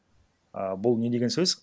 ііі бұл не деген сөз